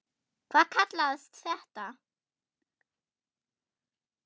Hvað kallast það?